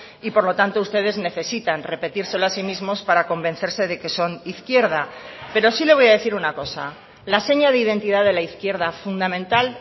y por lo tanto ustedes necesitan repetírselo a sí mismos para convencerse de que son izquierda pero sí le voy a decir una cosa la seña de identidad de la izquierda fundamental